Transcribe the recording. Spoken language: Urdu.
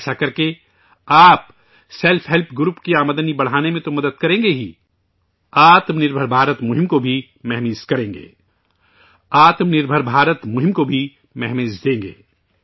ایسا کرکے ، آپ سیلف ہیلپ گروپ کی آمدنی بڑھانے میں تو مدد کریں گی ہی ، 'آتم نربھر بھارت مہم ' کو بھی رفتار دیں گے